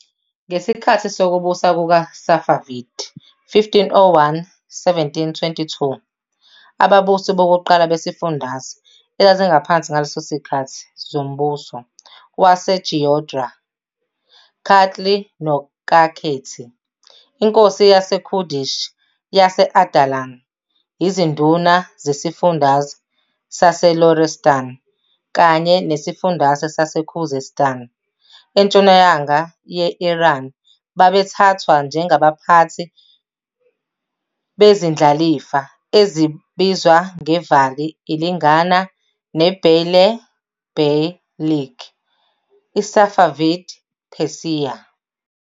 Ngesikhathi sokubusa kukaSafavid 1501-1722 ababusi bokuqala bezifundazwe ezazingaphansi ngaleso sikhathi zombuso waseGeorgia Kartli noKakheti, inkosi yaseKurdish yase- Ardalan, izinduna zesiFundazwe saseLorestān kanye nesifundazwe saseKhuzestan entshonalanga ye-Iran babethathwa njengabaphathi "bezindlalifa ezibizwa ngeVāli" ilingana neBeylerbeylik, iSafavid Persia.